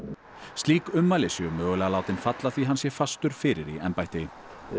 slík ummæli séu mögulega látin falla því hann sé fastur fyrir í embætti